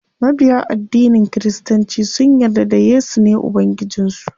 Mabiya addinin kiristanci sun yarda da yesu ne ubangijin su.